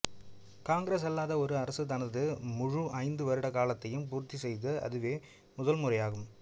காங்கிரஸ் அல்லாத ஒரு அரசு தனது முழு ஐந்து வருட காலத்தையும் பூர்த்தி செய்தது அதுவே முதல் முறையாகும்